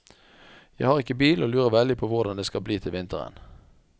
Jeg har ikke bil og lurer veldig på hvordan det skal bli til vinteren.